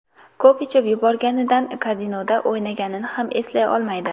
Ko‘p ichib yuborganidan kazinoda o‘ynaganini ham eslay olmaydi.